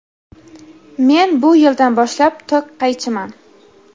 men bu yildan boshlab tok qaychiman.